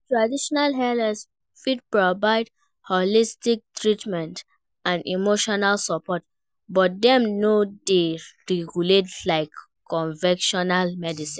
traditional healers fit provide holistic treatment and emotional support, but dem no dey regulate like convictional medicine.